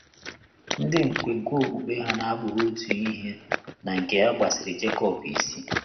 Ndị nkwenkwe okpukpe ha na-abụghị otu ihe na nke ya gbasiri Jekọb isi.